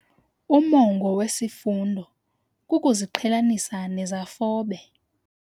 Umongo wesifundo kukuziqhelanisa nezafobe.